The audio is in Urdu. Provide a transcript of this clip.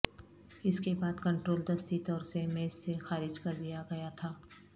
اس کے بعد کنٹرول دستی طور سے میز سے خارج کر دیا گیا تھا